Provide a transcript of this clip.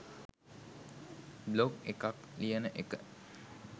blog එකක් ලියන එක